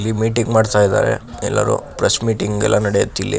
ಇಲ್ಲಿ ಮೀಟಿಂಗ್ ಮಾಡ್ತಾ ಇದಾರೆ ಇಲ್ಲಿ ಪ್ರೆಸ್ ಮೀಟಿಂಗ್ ಎಲ್ಲ ನೆಡಿಯತ್ ಇಲ್ಲಿ.